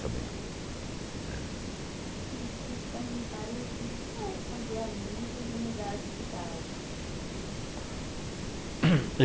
Sabendo, eh. Mas, eu queria te perguntar, como é fazer amigos e mudar de cidade?